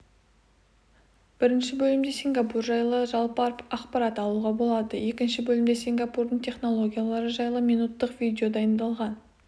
-бірінші бөлімде сингапур жайлы жалпы ақпарат алуға болады екінші бөлімде сингапурдың технологиялары жайлы минуттық видео дайындалған